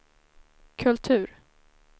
kultur